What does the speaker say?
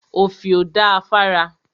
Òfìò da fára.